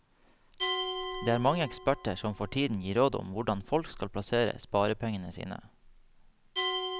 Det er mange eksperter som for tiden gir råd om hvordan folk skal plassere sparepengene sine.